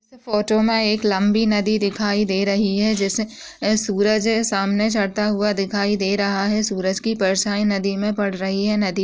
इस फ़ोटो मैं एक लंबी नदी दिखाई दे रही है जिसमे सूरज सामने चढ़ता हुआ दिखाई दे रहा है। सूरज की परछाई नदी में पड़ रही है। नदी --